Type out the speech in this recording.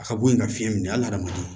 A ka bɔ yen ka fiɲɛ minɛ hali n'a ma